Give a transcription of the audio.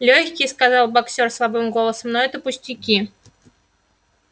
лёгкие сказал боксёр слабым голосом но это пустяки